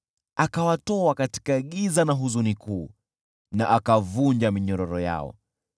Akawatoa katika giza na huzuni kuu na akavunja minyororo yao.